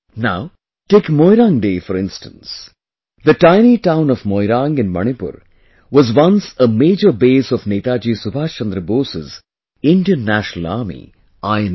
Now, take Moirang Day, for instance...the tiny town of Moirang in Manipur was once a major base of Netaji Subhash Chandra Bose's Indian National Army, INA